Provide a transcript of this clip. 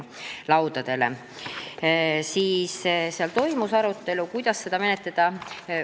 Meil toimus arutelu, kuidas seda menetleda.